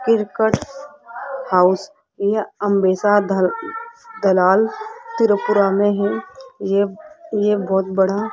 circuit house यह अम्बेसा ध दलाल त्रिपुरा में है ये ये बहुत बड़ा --